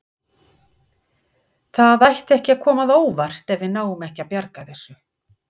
Það ætti ekki að koma á óvart ef við náum ekki að bjarga þessu.